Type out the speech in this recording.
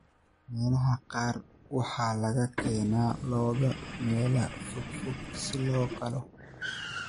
Meelaha qaar waxaa laga keenaa lo'da meelo fogfog si loo qalo.